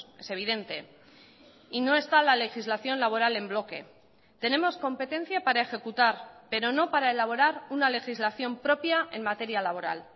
es evidente y no está la legislación laboral en bloque tenemos competencia para ejecutar pero no para elaborar una legislación propia en materia laboral